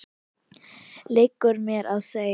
liggur mér við að segja.